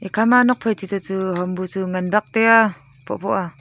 kha ma nok phai chiche chu hom bu chu ngan bak taiaa phohphoh aa.